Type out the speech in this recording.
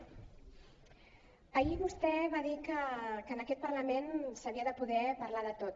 ahir vostè va dir que en aquest parlament s’havia de poder parlar de tot